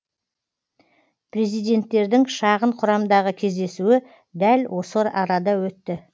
президенттердің шағын құрамдағы кездесуі дәл осы арада өтті